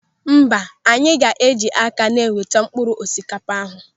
Mba, anyị ga eji aka na-eweta mkpụrụ osikapa ahụ